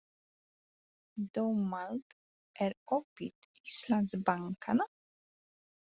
Dómald, er opið í Íslandsbanka?